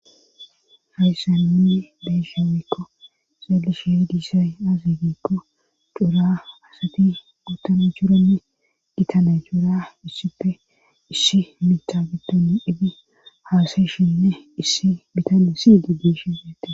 Hayssaninne beyshamekko xeelishe diisay azi gikko dura asati ootana churanne gitana juura issife issi mita biddonni edi haasayshinne issi bitane siydi geeshe ate.